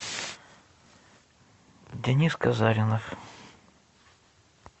денис казаринов